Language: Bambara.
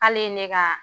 K'ale ye ne ka